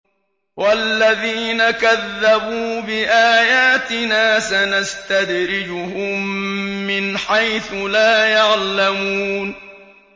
وَالَّذِينَ كَذَّبُوا بِآيَاتِنَا سَنَسْتَدْرِجُهُم مِّنْ حَيْثُ لَا يَعْلَمُونَ